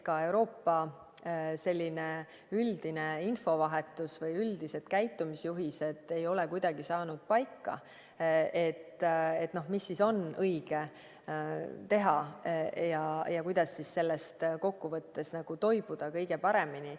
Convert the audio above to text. Ka Euroopa üldine infovahetus või üldised käitumisjuhised ei ole kuidagi paika saanud, et mis on õige teha ja kuidas sellest kokkuvõttes toibuda kõige paremini.